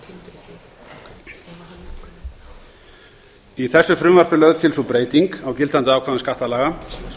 í þessu frumvarpi er lögð til sú breyting á gildandi ákvæðum skattalaga